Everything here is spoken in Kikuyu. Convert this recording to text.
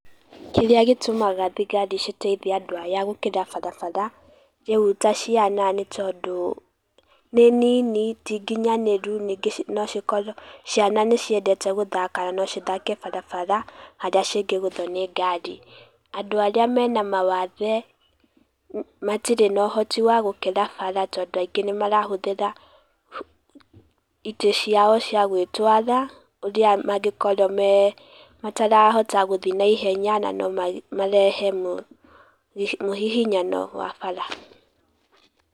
Kĩrĩa gĩtumaga thigari citeiithie andũ aya gũkĩra barabara, rĩu ta ciana, nĩtondu ciana nĩ nini tinginyanĩru ningĩ no cikorwo, ciana nĩ ciendete gũthaka na nocithake barabara harĩa cingĩgũthũo nĩ ngari. Andũ aria mena mawathe matirĩ na ũhoti wa gukĩra bara tondũ aingĩ nĩ marahũthira itĩ ciao cia gũĩtwara, ũrĩa mangĩkorwo matarahota gũthiĩ na ihenya, na nomarehe mũhihinyano wa bara.